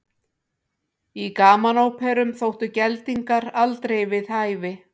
Í gamanóperum þóttu geldingar aldrei við hæfi.